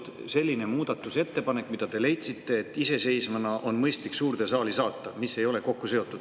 Kas oli mõni selline muudatusettepanek, mille puhul te leidsite, et see on mõistlik iseseisvana suurde saali saata?